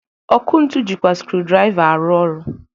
Ọkụ ntu jịkwa skrudraịva arụ ọrụ.